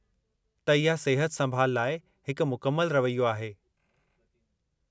त इहा सिहत-संभालु लाइ हिकु मुकमल रवैयो आहे।